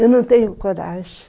Eu não tenho coragem.